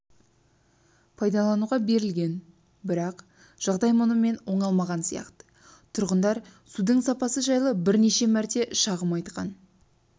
пайдалануға берілген бірақ жағдай мұнымен оңалмаған сияқты тұрғындар судың сапасы жайлып бірнеше мәрте шағым айтқан